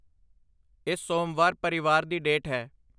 ਇਸ ਸੋਮਵਾਰ ਪਰਿਵਾਰ ਦੀ ਡੇਟ ਹੈ।